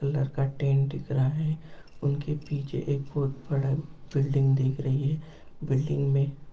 पलर का टेंट दिख रहा है उनके पीछे एक बहुत बड़ा बिल्डिंग दिख रही है बिल्डिंग में--